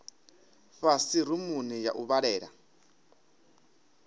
fhasi rumuni ya u vhalela